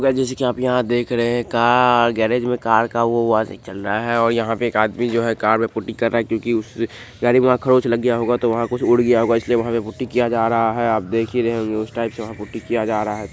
Guys जैसे की आप यहां देख रहे हैं कार गैरेज में कार का वो वाशिंग चल रहा है और यहां पे एक आदमी जो है कार में पुट्टी कर रहा है क्योंकि उस गाड़ी में वहां खरोच लग गया होगा तो वहां कुछ उड़ गया होगा इसलिए वहां पे पुट्टी किया जा रहा है आप देख ही रहे होंगे उस टाइप से वहां पुट्टी किया जा रहा है।